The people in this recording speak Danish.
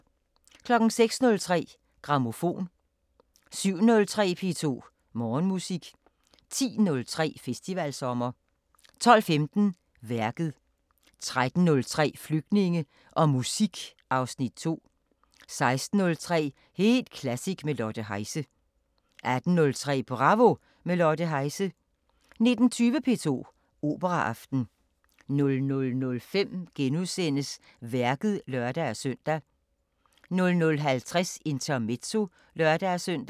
06:03: Grammofon 07:03: P2 Morgenmusik 10:03: Festivalsommer 12:15: Værket 13:03: Flygtninge og musik (Afs. 2) 16:03: Helt klassisk med Lotte Heise 18:03: Bravo – med Lotte Heise 19:20: P2 Operaaften 00:05: Værket *(lør-søn) 00:50: Intermezzo (lør-søn)